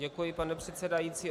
Děkuji, pane předsedající.